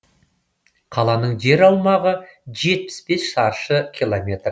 қаланың жер аумағы жетпіс бес шаршы километр